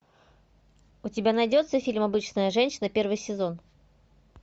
у тебя найдется фильм обычная женщина первый сезон